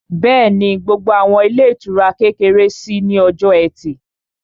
Bẹ́ẹ̀ni, gbogbo àwọn ilé ìtura kékeré ṣí ní ọjọ́ ẹtì